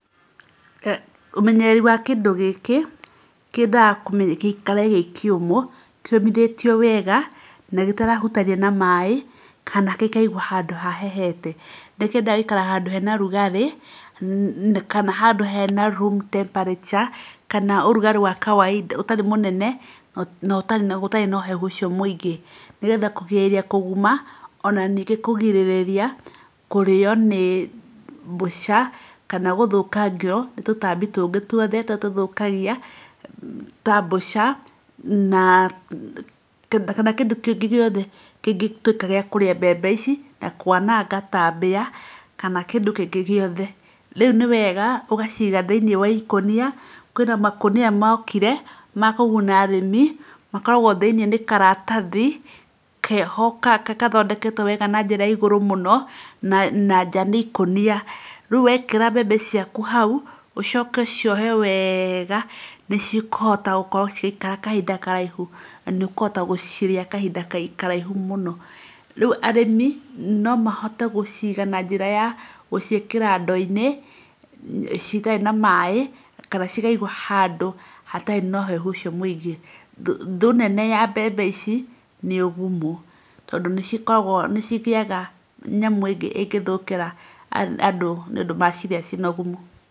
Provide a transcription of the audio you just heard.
Ũmenyereri wa kĩndũ gĩkĩ kĩendaga gĩikare gĩ kĩũmũ, kĩũmithĩtio wega na gĩtarahutania na maĩ kana gĩkaigwo handũ hahehete. Nĩ kĩendaga gũikara handũ hena ũrugarĩ kana handũ hena room temparature kana ũrugarĩ wa kawaida ũrugarĩ ũtarĩ mũnene na gũtarĩ na ũhehu ũcio mũingĩ. Nĩgetha kũgirĩrĩria kũguma ona ningĩ kũgirĩriria kũrĩo nĩ mbũca kana ningĩ gũthũkangio nĩ tũtaambi tũngĩ tuothe tũrĩa tũthũkagia ta mbũca na kana kĩndũ kĩngĩ gĩothe kĩngĩtuĩka gĩa kũrĩa mbembe ici, na kwananga ta mbĩa kana kĩndũ kĩngĩ gĩothe. Rĩu nĩ wega ũgaciiga thĩinĩ wa ikũnia, kwĩna makũnia mokire ma kũguna arĩmi makoragwo thĩinĩ nĩ karatathi keho gathondeketwo wega na njĩra ya igũrũ mũno, na nja nĩ ikũnia. Rĩu wekĩra mbembe ciaku ũcoke ũciohe wega nĩ cikũhota gũkorwo cigĩikara kahinda karaihu, na nĩ ũkũhota gũcirĩa kahinda karaihu mũno. Rĩu arĩmi no mahote gũciiga na njĩra ya gũciĩkĩra ndoo-inĩ citarĩ na maĩ kana cikaigwo handũ hatarĩ na ũhehu ũcio mũingĩ. Thũ nene ya mbembe ici nĩ ũgumu tondũ nĩ cikoragwo nĩ cigĩaga nyamũ ĩngĩ ĩngĩthũkĩra andũ nĩ ũndũ macirĩa ciĩ na ũgumu.